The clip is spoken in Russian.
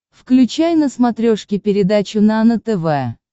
включай на смотрешке передачу нано тв